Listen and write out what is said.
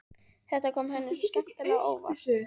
Þetta kom henni svo skemmtilega á óvart.